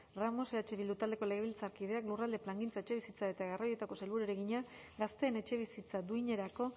ramos eh bildu taldeko legebiltzarkideak lurralde plangintza etxebizitza eta garraioetako sailburuari egina gazteek etxebizitza duinerako